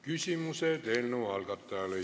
Küsimused eelnõu algataja esindajale.